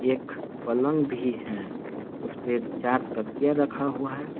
एक पलंग भी है उसपे चार तकिया रखा हुआ है।